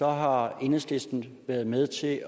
har enhedslisten været med til at